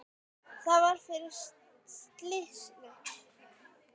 Það var fyrir slysni.